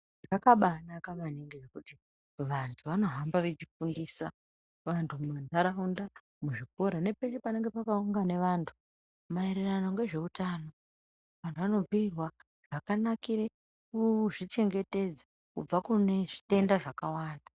Zvakabanaka maningi kuti vantu vanohamba vachifundisa antu Mundaraunda muzvikora nepeshe panenge pakaungana antu Maererano nezvehutano vantu vanobhiirwa zvakanakira kuzvichengetedza kubva kune zvitenda zvakawanda.